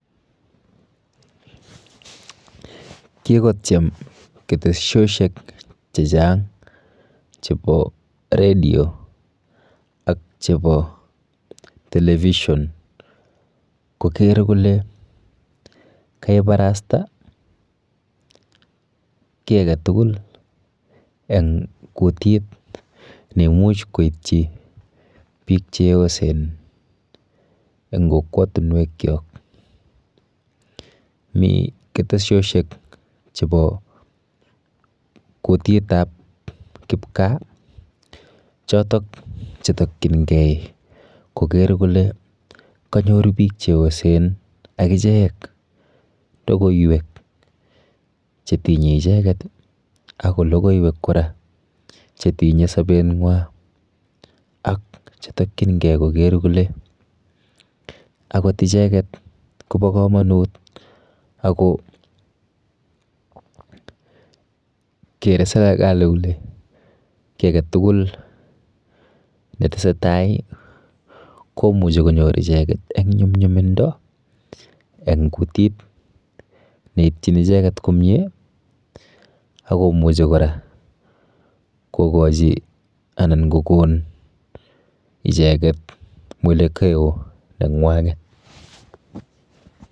Kikotyem keteshoshek chechang chepo redio ak chepo television koker kole keparasta kiy aketugul eng kutit neimuch koityi biik cheyosen eng kokwatunwekchok. Mi keteshoshek chepo kutitap kipkaa chotok chetokchingei koker kole kanyor biik cheyosen akichek logoiwek chetinye icheket ako logoiwek kora chetinye sobenwa ak chetokchingei koker kole akot icheket kopo komonut akokere serekali kole kiy aketugul netesetai komuchi konyor icheket eng nyumnyumindo eng kutit neitchin icheket komie akomuchi kora kokochi anan kokon icheket mwelekeo neng'wang'et.